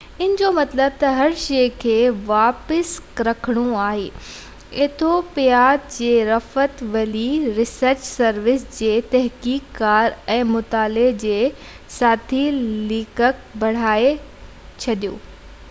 ان جو مطلب تہ هر شئي کي واپس رکڻو آهي ايٿوپيا جي رفٽ ويلي ريسرچ سروس جي تحقيق ڪار ۽ مطالعي جي ساٿي ليکڪ برهاني اسفا